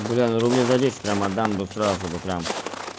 бля ну рублей за десять прям отдам бы сразу бы прям